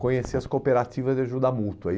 conhecer as cooperativas de ajuda mútua.